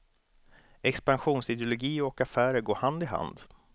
Expansionsideologi och affärer går hand i hand.